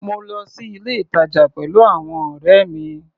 Mo lọ sí ilé-ìtàjà pẹ̀lú àwọn ọ̀rẹ́ mi.